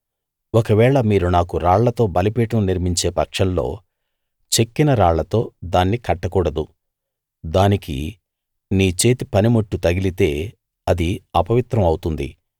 ఒకవేళ మీరు నాకు రాళ్లతో బలిపీఠం నిర్మించే పక్షంలో చెక్కిన రాళ్లతో దాన్ని కట్టకూడదు దానికి నీ చేతి పనిముట్టు తగిలితే అది అపవిత్రం అవుతుంది